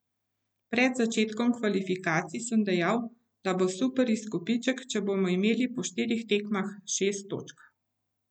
Pred začetkom kvalifikacij sem dejal, da bo super izkupiček, če bomo imeli po štirih tekmah šest točk.